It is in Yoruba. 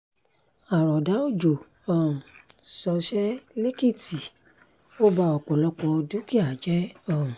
àròdà òjò um ṣọṣẹ́ lẹ́kìtì ó ba ọ̀pọ̀lọpọ̀ dúkìá jẹ́ um